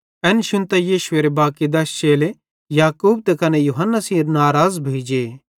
एन शुन्तां यीशुएरे बाकी दश चेले याकूब त कने यूहन्ना सेइं नराज़ भोइ जे